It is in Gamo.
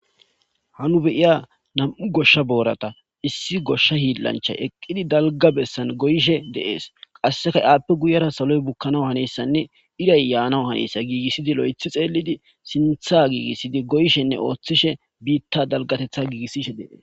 hanu beiya nam7u goshsha boorata issi goshsha hiillancha eqqidi dalga bessan goyishe deees qasseka appe guyera saloy bukkana hanessanne iray yaanau hanessa giigissidi lo7ethi xeelidi sintha giigissidi goyshenne ooththishe biitta dalgatetha giigissishe dees